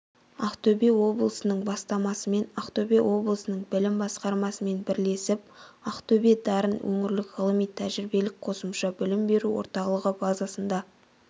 ақтөбе облысының бастамасымен ақтөбе облысының білім басқармасымен бірлесіп ақтөбе-дарын өңірлік ғылыми-тәжірибелік қосымша білім беру орталығы базасында